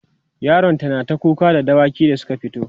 yaron ta nata kuka da dawaki Suka fito